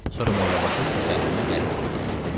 Sonra Mollabaşı təkəllümə gəlib dedi.